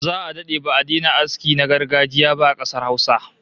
Za'a dade ba'a daina aski na gargajiya ba a kasar Hausa